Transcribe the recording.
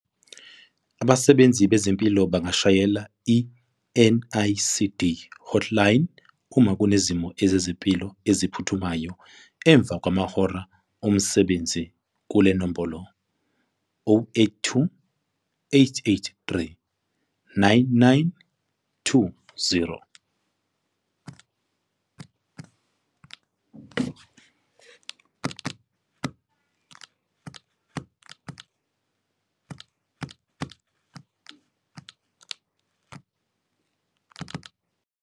Abasebenzi bezempilo bangashayela i-NICD Hotline uma Kunezimo Zezempilo Eziphuthumayo emva kwamahora omsebenzi kule nombolo- 082 883 9920.